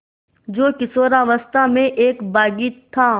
जो किशोरावस्था में एक बाग़ी था